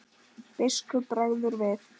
Biskupi bregður við.